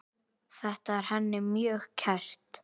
Þetta er henni mjög kært.